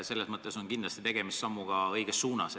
Selles mõttes on kindlasti tegemist sammuga õiges suunas.